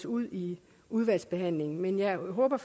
ud i udvalgsbehandlingen men jeg håber